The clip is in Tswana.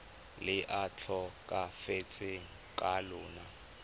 le a tlhokafetseng ka lona